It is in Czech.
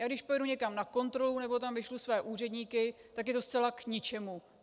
Já když pojedu někam na kontrolu nebo tam vyšlu své úředníky, tak je to zcela k ničemu.